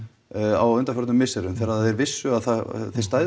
á undanförnum misserum þegar þeir vissu að þið